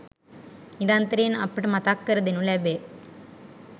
නිරන්තරයෙන් අපට මතක් කර දෙනු ලැබේ.